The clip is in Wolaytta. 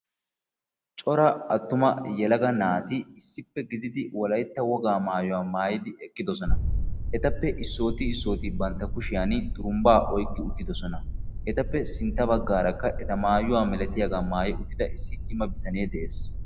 Cora attuma yelaga naati issippe gididi wolaytta wogaa maayuwa maayidi eqqidossona. Etappe issoti issoti bantta kushshiyan xurumbba oyqqidi uttiddossona. Etappe sintta baggaarakka eta maayuwa malatiyaaga maayi uttida cimma